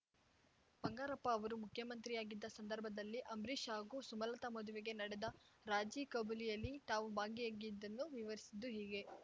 ಬಂಗಾರಪ್ಪ ಅವರು ಮುಖ್ಯಮಂತ್ರಿಯಾಗಿದ್ದ ಸಂದರ್ಭದಲ್ಲಿ ಅಂಬರೀಷ್‌ ಹಾಗೂ ಸುಮಲತಾ ಮದುವೆಗೆ ನಡೆದ ರಾಜಿಖಬೂಲಿಯಲ್ಲಿ ತಾವೂ ಬಾಗಿಯಾಗಿದ್ದನ್ನು ವಿವರಿಸಿದ್ದು ಹೀಗೆ